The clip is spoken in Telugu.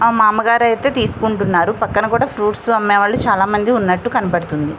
ఆ మామగారు అయితే తీసుకుంటున్నారు పక్కన కూడా ఫ్రూట్స్ అమ్మే వాళ్ళు చాలామంది ఉన్నట్టు కనపడుతుంది.